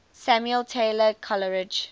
samuel taylor coleridge